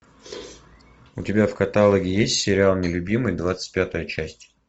у тебя в каталоге есть сериал нелюбимый двадцать пятая часть